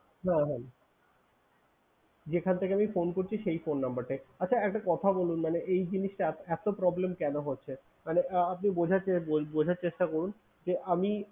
হ্যাঁ হ্যাঁ যেখান থেকে আমি phone করছি সেই phone number টায়। আচ্ছা একটা কথা বলুন মানে এই জিনিসটা এতো problem কেন হচ্ছে? মানে আহ আপনি বোঝার চে~ বোঝার চেষ্টা করুন যে, আমি